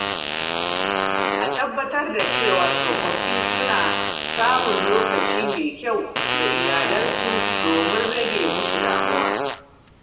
A tabbatar da cewa tsofaffi suna samun lokaci mai kyau da iyalinsu domin rage musu damuwa.